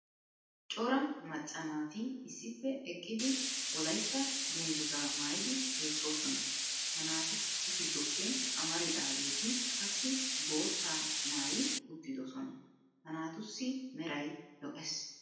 cora macca naati issippe eqqidi wolaytta danguzzaa maayidi beetoosona. ha naatu gidoppe amaridaageeti qassi boottaa maayi uttidiosona. ha naatussi meray lo'ees.